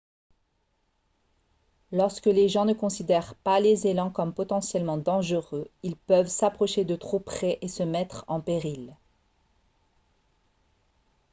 lorsque les gens ne considèrent pas les élans comme potentiellement dangereux ils peuvent s'approcher de trop près et se mettre en péril